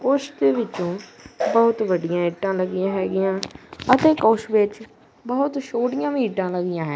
ਕੁਛ ਵਿੱਚ ਬਹੁਤ ਵੱਡੀਆਂ ਇੱਟਾਂ ਲੱਗੀਆਂ ਹੈਗੀਆਂ ਅਤੇ ਕੁਛ ਵਿੱਚ ਬਹੁਤ ਛੋਟੀਆਂ ਵੀ ਇੱਟਾਂ ਲੱਗੀਆ ਹੈ।